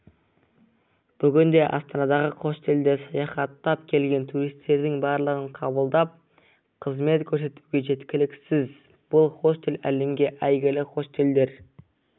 бүгінде астанадағы хостелдер саяхаттап келген туристердің барлығын қабылдап қызмет көрсетуге жеткіліксіз бұл хостел әлемге әйгілі хостелдер